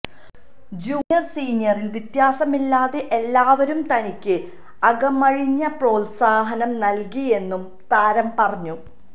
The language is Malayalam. ജൂനിയര് സീനിയര് വ്യത്യാസമില്ലാതെ എല്ലാവരും തനിക്ക് അകമഴിഞ്ഞ പോത്സാഹനം നല്കിയെന്നും താരം പറഞ്ഞു